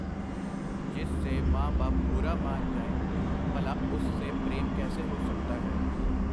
ਜਿਸ ਸੇ ਮਾਂ ਬਾਪ ਬੁਰਾ ਮਾਨ ਜਾਏਂ, ਭਲਾ ਉਸ ਸੇ ਪ੍ਰੇਮ ਕੈਸੇ ਹੋ ਸਕਤਾ ਹੈ.